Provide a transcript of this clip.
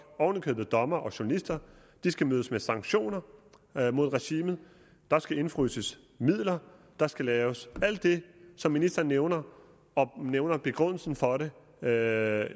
oven i købet dommere og journalister de skal mødes med sanktioner mod regimet der skal indefryses midler der skal laves alt det som ministeren nævner og hun nævner begrundelsen for det der